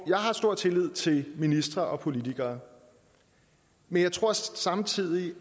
jeg har stor tillid til ministre og politikere men jeg tror samtidig